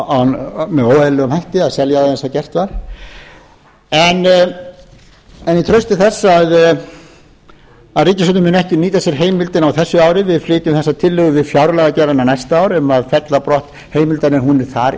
óeðlilegum hætti að selja það eins og gert var en í trausti þess að ríkisstjórnin muni ekki nýta sér heimildina á þessu ári við flytjum þessa tillögu við fjárlagagerðina næsta ár um að fella á brott heimildina en hún er þar